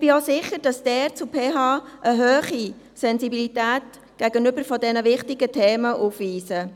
Ich bin auch sicher, dass die Pädagogische Hochschule (PH) eine hohe Sensibilität bezüglich dieser wichtigen Themen beweist.